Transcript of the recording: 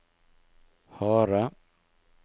harde